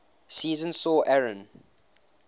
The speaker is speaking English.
season saw aaron